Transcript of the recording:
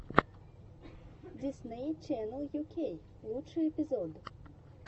дисней ченнел ю кей лучший эпизод